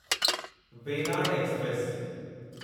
Venad express